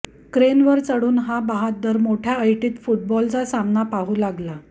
क्रेनवर चढून हा बहाद्दर मोठ्या ऐटित फुटबॉलचा सामना पाहू लागला